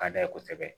Ka d'a ye kosɛbɛ